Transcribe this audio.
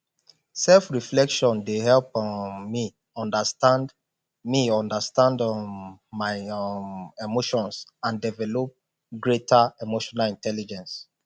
selfreflection dey help um me understand me understand um my um emotions and develp greater emotional intelligence